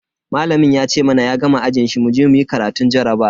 Malamin ya ce mana ya gama ajin shi muje muyi karatun jarabawa.